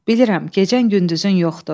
Bilirəm, gecən gündüzün yoxdur.